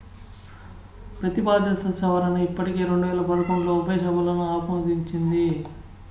ప్రతిపాదిత సవరణ ఇప్పటికే 2011లో ఉభయ సభలను ఆమోదించింది